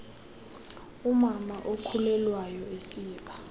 umama okhulelwayo esiba